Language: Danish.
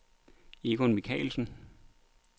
Egon Michaelsen